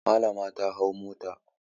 Malama ta hau mota.